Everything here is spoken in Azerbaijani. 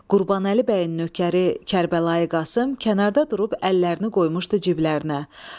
Qurbanəli bəyin nökəri Kərbəlayı Qasım kənarda durub əllərini qoymuşdu ciblərinə.